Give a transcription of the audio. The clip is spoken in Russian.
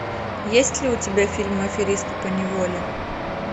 есть ли у тебя фильм аферисты поневоле